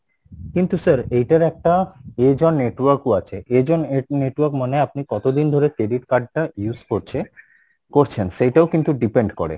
কিন্তু sir এইটার একটা network আছে net~network মানে আপনি কত দিন ধরে credit card টা use করছে করছেন সেইটাও কিন্তু depend করে